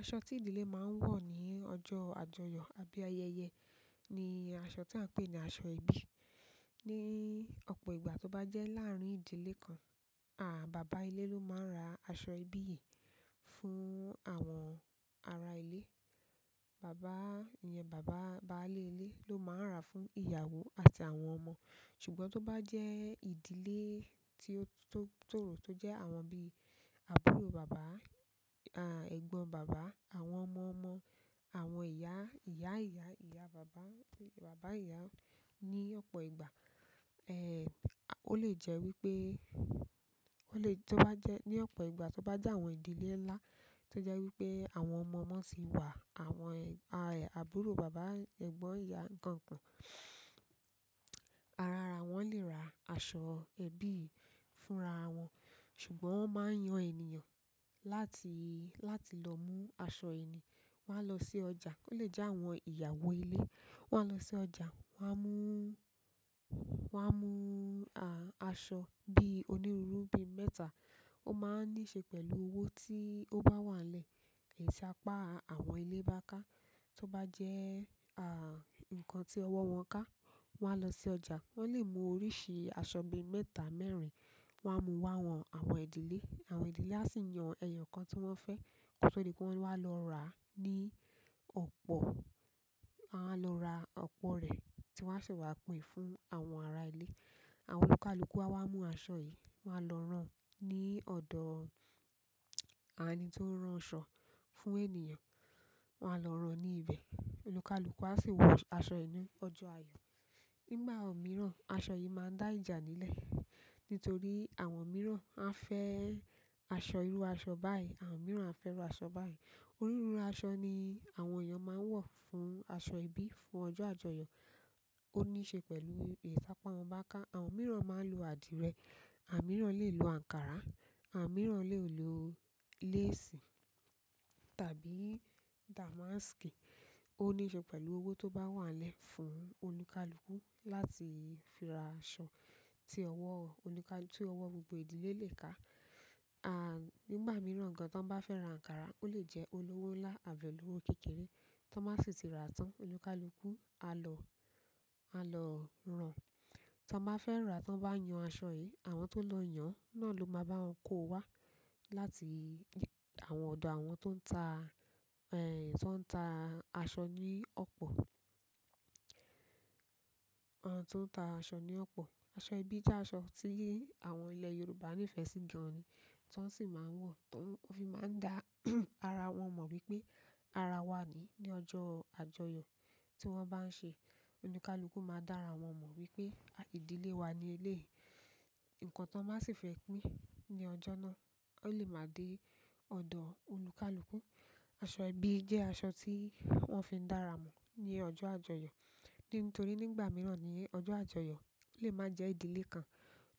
Aṣọ tí ìdílé máa ń wọ̀ ní ọjọ́ àjọyọ̀ àbí ayẹyẹ ní aṣọ tí à ń pè ní aṣọ ẹbí. Ní ọ̀pọ̀ ìgbà tó bá jẹ́ láàárín ìdílé kan, à, bàbá ilé ló máa ń ra aṣọ ẹbí yìí fún àwọn ará ilé. Bàbá, ìyẹn bàbá báálé ilé ló máa ń ra fún ìyàwó àti àwọn ọmọ. Ṣùgbọ́n tó bá jẹ́ ìdílé tí ó, tó, tóro tó jẹ́ àwọn bíi àbúrò bàbá, à, ẹ̀gbọ́n bàbá, àwọn ọmọ ọmọ, àwọn ìyá, ìyá ìyá, ìyá bàbá, bàbá ìyá. Ní ọ̀pọ̀ ìgbà, ẹ́, ó lè jẹ́ wípé, ó lè tó bá jẹ́ ní ọ̀pọ̀ ìgbà tó bá jẹ́ àwọn ìdílé ńlá tó jẹ́ wípé àwọn ọmọ ọmọ ti wà, àwọn, à, àbúrò bàbá, ẹ̀gbọ́n ìyá nkan nkan, arara wọ́n lè ra aṣọ ẹbí yi fúnra wọn. Ṣùgbọ́n wọ́n máa ń yan ènìyàn láti, láti lọ mú aṣọ yi ni. Wọ́n á lọ sí ọjà. Ó lè jẹ́ àwọn ìyàwó ilé. Wọ́n á lọ sí ọjà, wọ́n á mú, wọ́n á mú, à, aṣọ bí onírúurú bí mẹ́ta. Ó máa ń níṣe pẹ̀lú owó tí ó bá wà lẹ́ ẹ̀yi tàpá àwọn ilé bá ká. Tó bá jẹ́, à, nǹkan tí ọwọ́ wọn ká, wọ́n á lọ sí ọjà. Wọ́n lè mú oríṣi aṣọ bí mẹ́ta, mẹ́rìn. Wọ́n á mú wá wọ̀n àwọn ìdílé. Àwọn ìdílé á sì yan ẹyọ kan tí wọ́n fẹ́. Ko to di pé wọ́n wá lọ ra ní ọ̀pọ̀. Won a wa lora opo re, ti won a see wa pín fún àwọn ara ile. Àwọn olùkálùkú á wá mú aṣọ yìí, wọ́n á lọ rán ní ọ̀dọ̀ ení tí ó ń rán aṣọ fún ènìyàn. Wọ́n á lọ rán ní ibẹ̀. Olùkálùkú á sì wọ aṣọ inú ọjọ́ ayọ̀. Nígbà mìíràn, aṣọ yìí máa dá ìjà nílẹ̀ nítorí àwọn mìíràn á fẹ́ aṣọ irú aṣọ báyìí, àwọn mìíràn á fẹ́ irú aṣọ báyìí. Onírúurú aṣọ ni àwọn èèyàn máa ń wọ̀ fún aṣọ ẹbí fún ọjọ́ àjọyọ̀. Ó níṣe pẹ̀lú èṣàpá wọn bá ká. Àwọn mìíràn máa ń lo àdìrẹ, àmìrán lè lo ankara, àmìrán lè lo léèsì tàbí damaski. Ó níṣe pẹ̀lú owó tó bá wà lẹ́ fún olùkálùkú láti fi ra aṣọ tí ọwọ́ olùkálùkú, tí ọwọ́ gbogbo ìdílé lè ká. À, nígbà mìíràn gan tí wọ́n bá fẹ́ ra ankara, ó lè jẹ́ olówó ńlá àbí olówó kékeré tan bá sì ti ra tán. Olùkálùkú á lọ, á lọ rán. Tí wọ́n bá fẹ́ rà, tí wọ́n bá yan aṣọ yìí, àwọn tó lọ yàn náà ló máa bá wọn kó wá láti àwọn ọ̀dọ̀ àwọn tó ń ta, ẹ́, tó ń ta aṣọ ní ọ̀pọ̀. Àwọn tó ń ta aṣọ ní ọ̀pọ̀. Aṣọ ẹbí jẹ́ aṣọ tí àwọn ilẹ̀ Yorùbá ní ìfẹ́ sí gan ni, tí wọ́n sì máa ń wọ̀, tó fi máa ń dá ara wọn mọ̀ wípé ara wa ni ní ọjọ́ àjọyọ̀ tí wọ́n bá ń ṣe. Olùkálùkú máa dá ara wọn mọ̀ wípé ìdílé wa ni ilé yìí. Ìkàn tí wọ́n sì fẹ́ pín ní ọjọ́ náà. Ó lè máa dé ọ̀dọ̀ olùkálùkú. Aṣọ ẹbí jẹ́ aṣọ tí wọ́n fi ń dá ara mọ̀ ní ọjọ́ àjọyọ̀. Nítorí nígbà mìíràn ní ọjọ́ àjọyọ̀ o lè máa jẹ́ ìdílé kan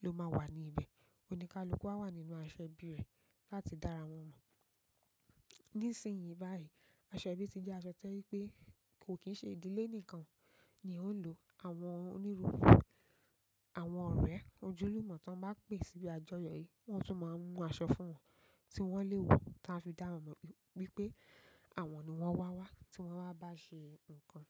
ló máa wà ní ibẹ̀. Olùkálùkú á wà nínú aṣọ ẹbí rẹ̀ láti dá ara wọn mọ̀. Nísìnyí báyìí, aṣọ ẹbí ti jẹ́ aṣọ tó je wi pé kò kì í ṣe ìdílé nìkan ni ó ń lò. Àwọn onírúurú, àwọn ọ̀rẹ́ ojúlùmọ̀ tí wọ́n bá pè síbi àjọyọ̀ yìí, wọ́n tún máa ń mú aṣọ fún wọn tí wọ́n lè wọ, táa fi dá wọn mọ̀ wípé àwọn ni wọ́n wà wá tí wọ́n bá bá ṣe nǹkan.